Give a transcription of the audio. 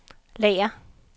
lager